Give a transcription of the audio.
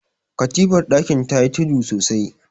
katifar dakin ta yi tudu sosai